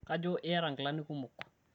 kajo iyata inkilani kumok